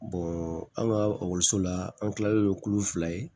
an ka la an kilalen kulo fila ye